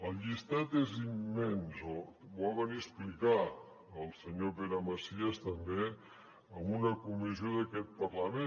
el llistat és immens ho va venir a explicar el senyor pere macias també en una comissió d’aquest parlament